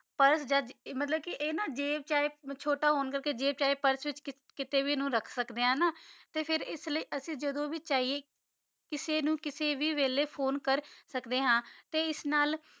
ਫਰਜ਼ ਅਜਦ ਮਤਲਬ ਕੇ ਆਯ ਨਾ ਜੈਬ ਚਾਹੀ ਪੁਰਸੇ ਚ ਛੋਟਾ ਹੋਣਾ ਕਰਕੇ ਜੈਬ ਚਾਹੀ ਪੁਰਸੇ ਵਿਚ ਕਿਤੇ ਵੀ ਰਖ ਸਕਦੇ ਆਂ ਤੇ ਫੇਰ ਏਸ ਲੈ ਜਦੋਂ ਵੀ ਚਿਯ ਕਿਸੇ ਨੂ ਕਿਸੇ ਵੀ ਵੀਲਾਯ ਫੋਨੇ ਕਰ ਸਕਦੇ ਹਾਂ ਤੇ ਏਸ ਨਾਲ